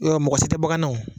mɔgɔ si tɛ bɔ ka na wo.